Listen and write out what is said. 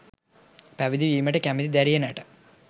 පැවිදි වීමට කැමැති දැරියනට